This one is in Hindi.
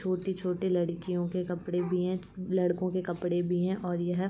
छोटे-छोटे लड़कियों के कपड़े भी हैं। लड़कों के कपड़े भी हैं और यह --